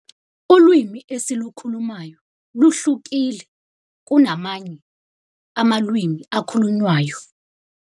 Ulwimi esilukhulumayo luhlukile kunamanye amalwimi akhulunywayo.